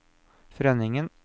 Frønningen